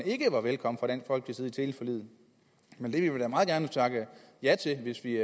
ikke var velkommen i teleforliget men vi vil meget gerne takke ja til det hvis vi